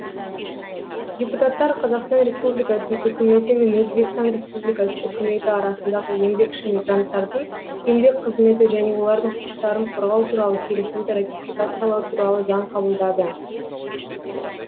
депутаттар қазақстан республикасының үкіметі мен өзбекстан республикасының үкіметі арасындағы еңбекші мигранттардың еңбек қызметі және олардың құқықтарын қорғау туралы келісімді ратификациялау туралы заң қабылдады